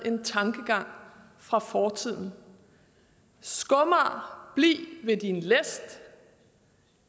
en tankegang fra fortiden skomager bliv ved din læst